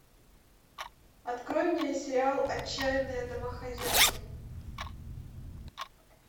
открой мне сериал отчаянные домохозяйки